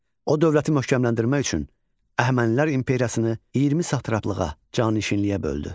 O, dövləti möhkəmləndirmək üçün Əhəmənilər imperiyasını 20 satraplığa, canişinliyə böldü.